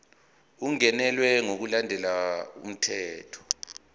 ungenelwe ngokulandela umthetho